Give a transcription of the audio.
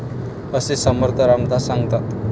असे समर्थ रामदास सांगतात.